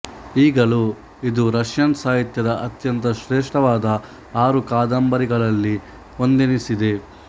ಈಗಲೂ ಇದು ರಷ್ಯನ್ ಸಾಹಿತ್ಯದ ಅತ್ಯಂತ ಶ್ರೇಷ್ಠವಾದ ಆರು ಕಾದಂಬರಿಗಳಲ್ಲಿ ಒಂದೆನಿಸಿದೆ